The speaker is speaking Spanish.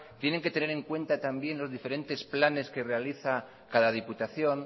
tiene que tener en cuenta también los diferentes planes que realiza cada diputación